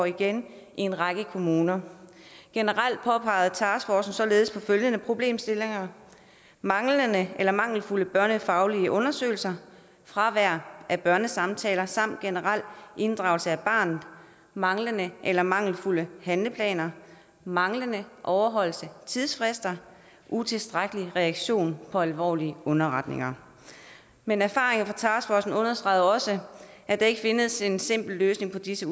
igen i en række kommuner generelt påpegede taskforcen således følgende problemstillinger manglende eller mangelfulde børnefaglige undersøgelser fravær af børnesamtaler samt generel inddragelse af barnet manglende eller mangelfulde handleplaner manglende overholdelse af tidsfrister og utilstrækkelig reaktion på alvorlige underretninger men erfaringerne fra taskforcen understregede også at der ikke findes en simpel løsning på disse